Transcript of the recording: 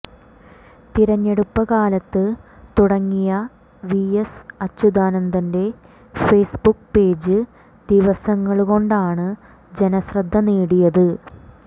തിരഞ്ഞെടുപ്പ് കാലത്ത് തുടങ്ങിയ വിഎസ് അച്യുതാനന്ദന്റെ ഫേസ്ബുക്ക് പേജ് ദിവസങ്ങള് കൊണ്ടാണ് ജനശ്രദ്ധ നേടിയത്